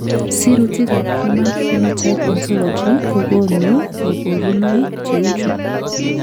Sirutikab Human Phenotype Ontology kokonu koborunoik cheuchu.